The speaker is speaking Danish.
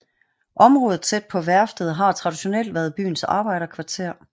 Området tæt på værftet har traditionelt været byens arbejderkvarter